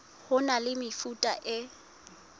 ho na le mefuta e